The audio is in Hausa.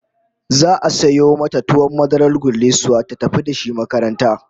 Za'a sayo mata tuwon madarar gullisuwa ta tafi da shi makaranta